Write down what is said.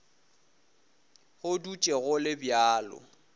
go dutše go le bjalo